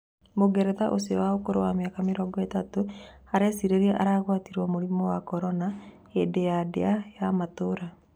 Mũngeretha ũcio wa ũkũrũ wa mĩaka mĩrongo-ĩtatũ arecirĩria agũatirio mũrimũ wa Korona hĩndĩ ya ndĩa ya Matũũra.